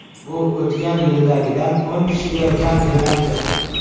Bu o‘tgan yildagidan o‘n kishiga kam demakdir.